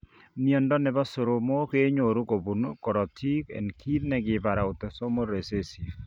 Miondo nebo soromok kenyoru kobun korotik en kit negibare autosomal recessive